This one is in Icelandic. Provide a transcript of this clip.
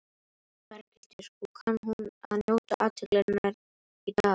Berghildur: Og kann hún að njóta athyglinnar í dag?